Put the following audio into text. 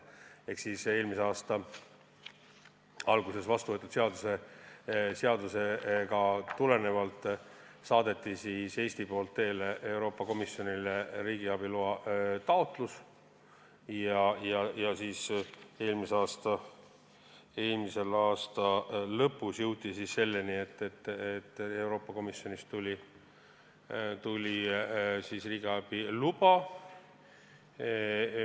Ehk siis eelmise aasta alguses vastu võetud seadusest tulenevalt saatis Eesti Euroopa Komisjonile teele riigiabi loa taotluse ja eelmise aasta lõpus jõuti selleni, et Euroopa Komisjonist tuli riigiabi luba.